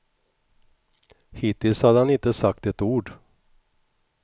Hittills hade han inte sagt ett ord.